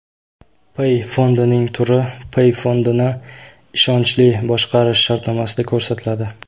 Pay fondining turi pay fondini ishonchli boshqarish shartnomasida ko‘rsatiladi.